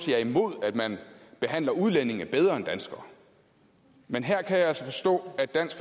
er imod at man behandler udlændinge bedre end danskere men her kan jeg altså forstå at dansk